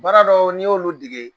Baaradɔw, n'i y'olu dege